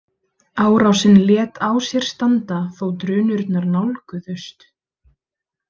Árásin lét á sér standa þó drunurnar nálguðust.